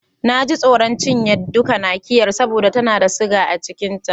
Na ji tsoron cinye duka Nakiyar saboda tana da siga sosai a cikin ta.